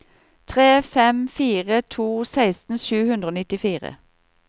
tre fem fire to seksten sju hundre og nittifire